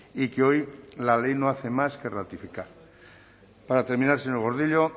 y que hoy la ley no hace más que ratificar para terminar señor gordillo